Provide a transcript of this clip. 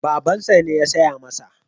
Babansa ne ya saya masa.